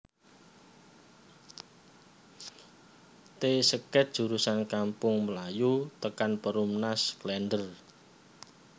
T seket jurusan Kampung Melayu tekan Perumnas Klender